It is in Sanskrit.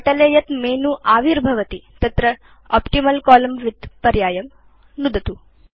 पटले यत् मेनु आविर्भवति तत्र ऑप्टिमल् कोलम्न विड्थ पर्यायं नुदतु